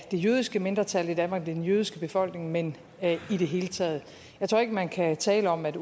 jødiske mindretal i danmark den jødiske befolkning men i det hele taget jeg tror ikke man kan tale om at